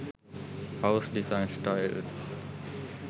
house design styles